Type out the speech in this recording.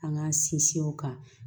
An k'an sinsin o kan